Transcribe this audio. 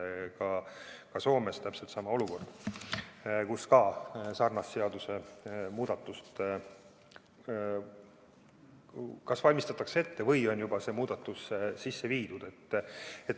on täpselt sama olukord, kus sarnast seadusemuudatust kas valmistatakse ette või on see muudatus juba sisse viidud.